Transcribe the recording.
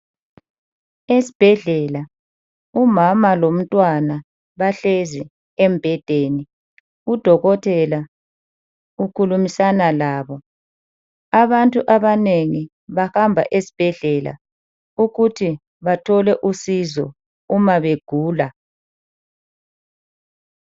Esibhedlela umama lomntwana bahlezi embhedeni. Udokotela ukhulumisana laye. Abantu abanengi bahamba esibhedlela ukuthi bathole usizo uma begula.